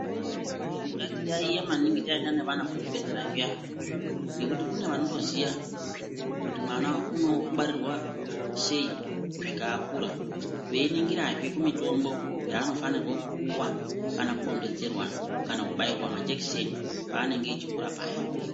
Ngatiyaiye maningi taenda nevana kuzvibhedhlera zviyana, ngekuti kune vanotoziya kuti mwana unongwarirwa sei kusvika akura, veiningirazve kumitombo yaanofanirwa kupuwa kana kudondedzerwa kana kubairwa majekiseni paanenge echikura paya.